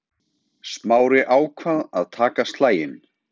Smári ákvað að taka slaginn.